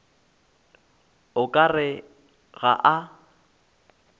o ka re ga a